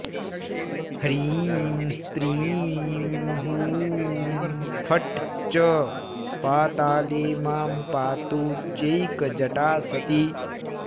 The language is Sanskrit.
ह्रीं स्त्रीं हूं फट् च पाताले मां पातु चैकजटा सती